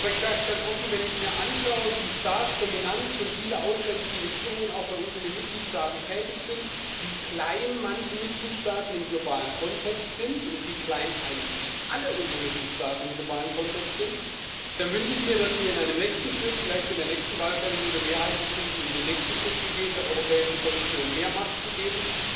Aber ich sage es ganz offen Wenn ich mir anschaue, wie stark dominant schon viele ausländische Regierungen auch bei uns in den Mitgliedstaaten tätig sind, wie klein manche Mitgliedstaaten im globalen Kontext sind und wie klein eigentlich alle unsere Mitgliedstaaten im globalen Kontext sind, dann wünsche ich mir, dass wir in einem nächsten Schritt vielleicht in der nächsten Wahlperiode Mehrheiten finden, um den nächsten Schritt zu gehen, der Europäischen Kommission mehr Macht zu geben.